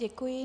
Děkuji.